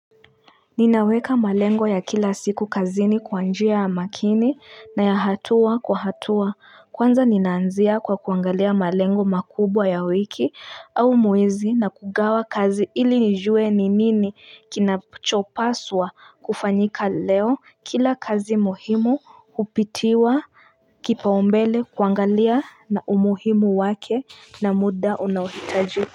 Ninaweka malengo ya kila siku kazini kwa njia ya makini na ya hatua kwa hatua kwanza ninaanzia kwa kuangalia malengo makubwa ya wiki au mwezi na kugawa kazi ili nijue ni nini kinachopaswa kufanyika leo kila kazi muhimu hupitiwa Kipaombele kuangalia na umuhimu wake na muda unaohitajuka.